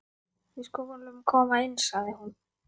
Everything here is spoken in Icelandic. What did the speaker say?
Við skulum koma inn, sagði hún.